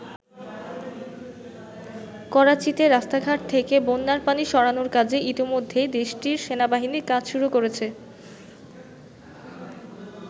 করাচীতে রাস্তাঘাট থেকে বন্যার পানি সরানোর কাজে ইতিমধ্যেই দেশটির সেনাবাহিনী কাজ শুরু করেছে।